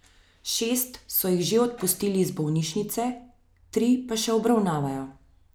Šest so jih že odpustili iz bolnišnice, tri pa še obravnavajo.